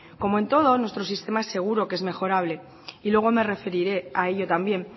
como en todo nuestro sistema es seguro que es mejorable y luego me referiré a ello también